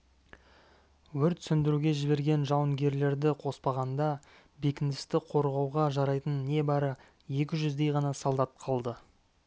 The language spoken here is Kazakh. өрт сөндіруге жіберген жауынгерлерді қоспағанда бекіністі қорғауға жарайтын не бары екі жүздей ғана солдат қалды